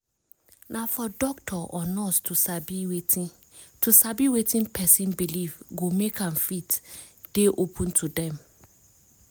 na for doctor or nurse to sabi wetin to sabi wetin person belief go make am fit dey open to dem